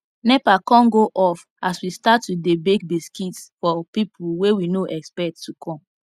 nepa con go off as we start to dey bake biscuits for people wey we no expect to come